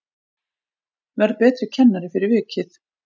Verð betri kennari fyrir vikið